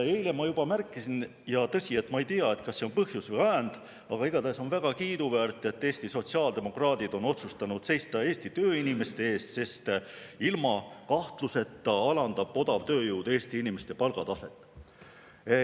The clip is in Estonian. Eile ma juba märkisin, ja tõsi, ma ei tea, kas see on põhjus või ajend, aga igatahes on väga kiiduväärt, et Eesti sotsiaaldemokraadid on otsustanud seista Eesti tööinimeste eest, sest ilma kahtluseta odavtööjõud alandab Eesti inimeste palgataset.